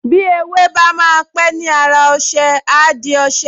Bí ewé bá máa pẹ́ ni ára ọṣẹ, á di ọṣẹ